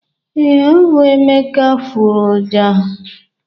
ee, ọ bụ emeka furu ọjà.